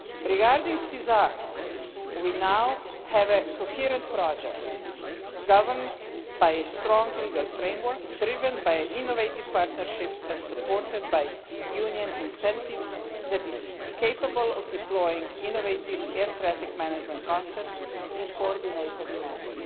Regarding SESAR, we now have a coherent project, governed by a strong legal framework, driven by innovative partnerships and supported by Union incentives, that is capable of deploying innovative air traffic management concepts in a coordinated manner.